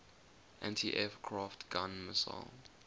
anti aircraft gun missile